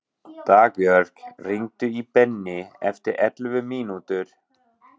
Dagbjörg, hringdu í Benný eftir ellefu mínútur.